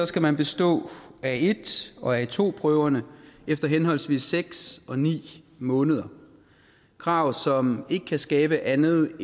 skal man bestå a1 og a2 prøverne efter henholdsvis seks og ni måneder krav som ikke kan skabe andet